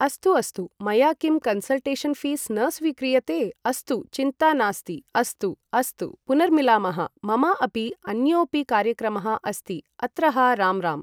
अस्तु अस्तु मया किं कन्सल्टेषन् फी़स् न स्वीक्रियते अस्तु चिन्ता नास्ति अस्तु अस्तु पुनर्मिलामः मम अपि अन्योपि कार्यक्रमः अस्ति अत्रहा राम् राम्